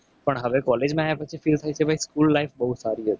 પણ હવે college માં આયા પછી feel થશે. કે school life બહુ સારી હતી.